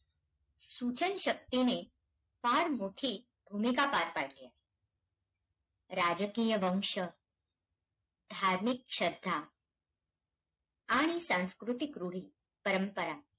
सुचनशक्तीने, फार मोठी भूमिका पार पाडलीये. राजकीय वंश, धार्मिक श्रद्धा, आणि सांस्कृतिक रूढी-परंपरा,